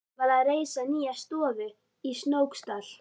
Daði var að reisa nýja stofu í Snóksdal.